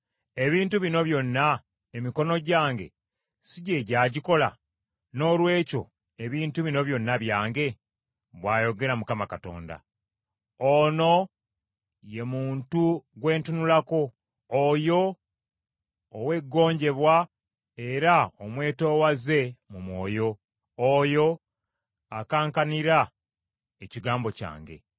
Ebintu bino byonna emikono gyange si gye gyagikola, noolwekyo ebintu bino byonna byange?” bw’ayogera Mukama Katonda. “Ono ye muntu gwe ntunulako; oyo ow’eggonjebwa era omwetoowaze mu mwoyo, oyo akankanira ekigambo kyange.